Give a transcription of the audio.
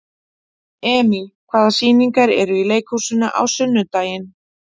Emý, hvaða sýningar eru í leikhúsinu á sunnudaginn?